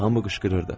Hamı qışqırırdı.